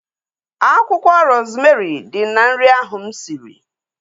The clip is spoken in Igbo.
Akwụkwọ rozmerị dị na nri ahu mụ siri